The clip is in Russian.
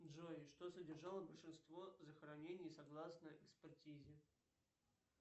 джой что содержало большинство захоронений согласно экспертизе